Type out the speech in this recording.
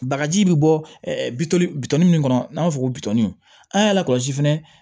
Bagaji bi bɔ bitɔn bitɔn min kɔnɔ n'an b'a fɔ ko bitɔni an y'a lakɔlɔsi fɛnɛ